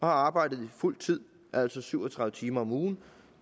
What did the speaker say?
har arbejdet på fuld tid altså syv og tredive timer om ugen